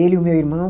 Ele e o meu irmão.